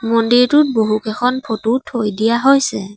মন্দিৰটোত বহুকেইখন ফটো থৈ দিয়া হৈছে।